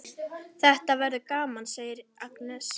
Þetta verður gaman, segir Agnes.